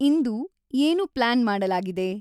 ಇಂದು ಏನು ಪ್ಲ್ಯಾನ್ ಮಾಡಲಾಗಿದೆ